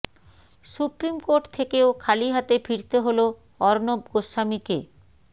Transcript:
supreme court থেকেও খালি হাতে ফিরতে হল অর্ণব গোস্বামীকে